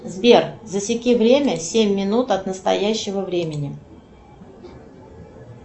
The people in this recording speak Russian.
сбер засеки время семь минут от настоящего времени